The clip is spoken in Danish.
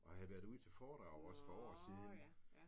Og havde været ude til foredrag også for år siden